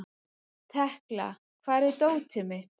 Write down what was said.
Tekla, hvar er dótið mitt?